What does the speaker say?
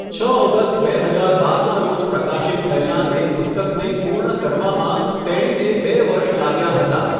છ ઓગસ્ટ બે હજાર બારના રોજ પ્રકાશિત થયેલાં એ પુસ્તકને પૂર્ણ કરવામાં તેણીને બે વર્ષ લાગ્યાં હતાં.